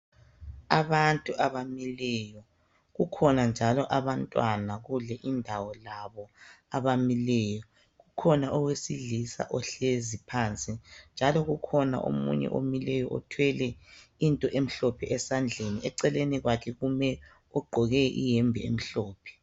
abantu abamileyo kukhona njalo abantwana kule indawo labo abamileyo kukhona owesilisa ohlezi phansi njalo kukhona omunye omileyo othwele into emhlophe esandleni eceleni kwakhe kume ogqoke iyembe emhlophe